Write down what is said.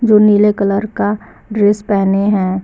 जो नीले कलर का ड्रेस पहने हैं।